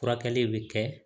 Furakɛli bɛ kɛ